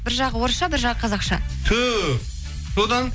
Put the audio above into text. бір жағы орысша бір жағы қазақша түһ содан